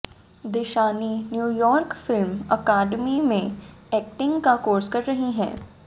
Dishani New York film academy से acting का course कर रही हैं